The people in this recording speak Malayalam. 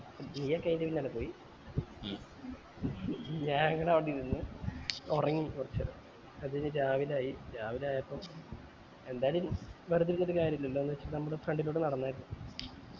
ജൂ ഒക്കെ അയിൻറെ പിന്നാലെ പോയി ഞങ്ങൾ അവിടെ ഇരുന്നു ഒറങ്ങി കൊറച്ച് നേരം അത് കൈഞ്ഞ് രാവിലെ ആയി രാവിലെ ആയപ്പോ എന്തായാലു എനി വെർതെ ഇരുന്നിട് കാര്യം ഇല്ലാലോ വിജാരിച്ച് ഞങ്ങൾ front ലൂടെ നടന്നായിരുന്നു